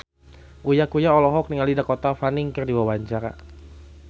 Uya Kuya olohok ningali Dakota Fanning keur diwawancara